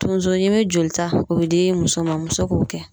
Tonsoɲimi jolita o bɛ di muso ma muso k'o kɛ